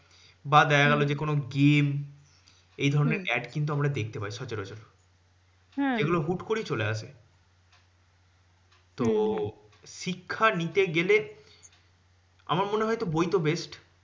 বা দেখা গেলো যে, কোনো game. এইধরণের ad কিন্তু আমরা দেখতে পাই সচরাচর। এগুলো হুট করেই চলে আসে। তো শিক্ষা নিতে গেলে আমার মনে হয় বই তো best